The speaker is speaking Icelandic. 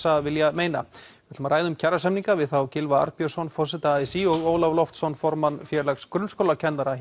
vill meina við ræðum um kjarasamninga við þá Gylfa Arnbjörnsson forseta a s í og Ólaf Loftsson formann Félags grunnskólakennara